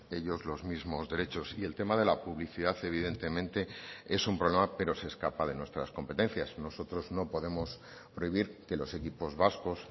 ellos los mismos derechos y el tema de la publicidad evidentemente es un problema pero se escapa de nuestras competencias nosotros no podemos prohibir que los equipos vascos